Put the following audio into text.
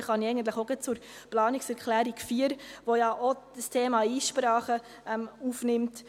Nun kann ich eigentlich auch gleich zur Planungserklärung 4 etwas sagen, welche das Thema Einsprachen aufnimmt.